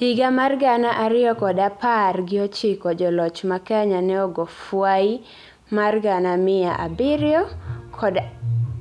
higa mar gana ariyokod apar gi ochiko joloch ma Kenya ne ogofwai mar gana miya abiryo kod